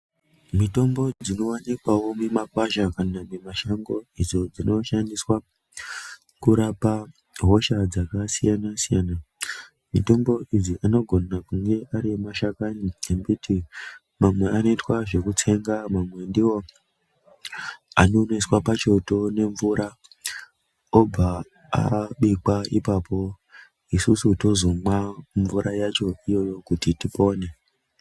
Mitombo dzinoonekwayo mumakwasha kana mumashango idzo dzinoshandiswa kurapa hosha dzakasiyana-siyana ,mitombo idzi anogona kunge ari mashakani embiti mamwe anoitwa zvekutsenga ,mamwe ndiwo anoiswa pachoto nemvura obva abikwa ipapo, isusu tozomwa mvura yacho iyoyo kuti tipone.